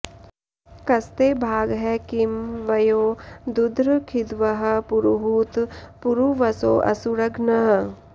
कस्ते॑ भा॒गः किं वयो॑ दुध्र खिद्वः॒ पुरु॑हूत पुरूवसोऽसुर॒घ्नः